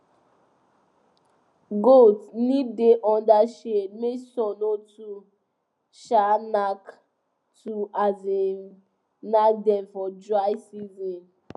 goats need da under shade make sun no too um nak too um nak dem for dry season